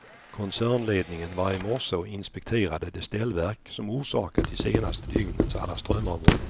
Koncernledningen var i morse och inspekterade det ställverk, som orsakat de senaste dygnens alla strömavbrott.